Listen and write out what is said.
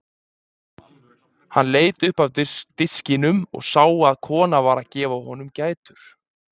Hann leit upp af diskinum og sá að kona var að gefa honum gætur.